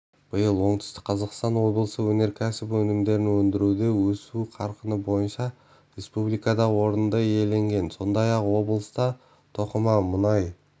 биыл оңтүстік қазақстан облысы өнеркәсіп өнімдерінөндіруде өсу қарқыны бойынша республикада орынды иеленген сондай-ақ облыста тоқыма мұнай